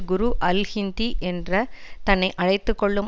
குரு அல் ஹிந்தி என்று தன்னை அழைத்து கொள்ளும்